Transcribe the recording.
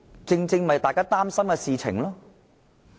這正是大家擔心的事情。